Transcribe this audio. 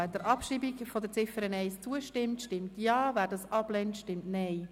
Wer der Abschreibung der Ziffer 1 zustimmt, stimmt Ja, wer dies ablehnt, stimmt Nein.